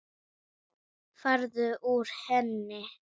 Farðu úr henni.